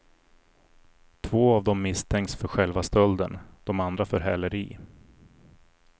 Två av dem misstänks för själva stölden, de andra för häleri.